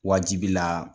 Wajibila